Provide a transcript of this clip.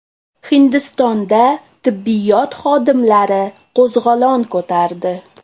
Hindistonda tibbiyot xodimlari qo‘zg‘olon ko‘tardi.